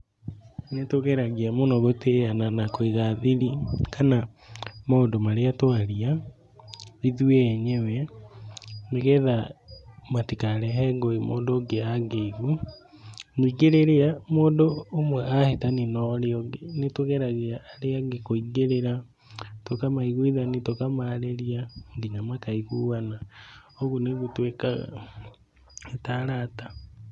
Nĩtũgeragia mũno gũtĩyana na kũiga thiri kana maũndũ marĩa twalia ithuĩ enyewe nĩgetha matikarehe ngũĩ mũndũ ũngĩ angĩigua. Nyingĩ rĩrĩa mũndũ ũmwe ahĩtania norĩa ũngĩ nĩtũgeragia arĩa angĩ kwĩngĩrĩra tũkamaiguithania, tũkamarĩria, nginya makaiguana. ũguo nĩguo twĩkaga ta arata.